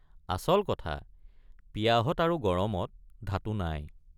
আচল কথা পিয়াহত আৰু গৰমত ধাতু নাই।